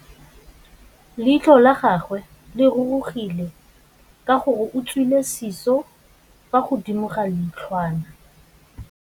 Leitlhô la gagwe le rurugile ka gore o tswile sisô fa godimo ga leitlhwana.